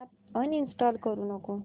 app uninstall करू नको